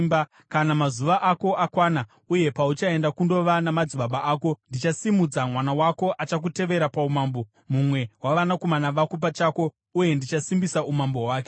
Kana mazuva ako akwana uye pauchaenda kundova namadzibaba ako, ndichasimudza mwana wako achakutevera paumambo, mumwe wavanakomana vako pachako uye ndichasimbisa umambo hwake.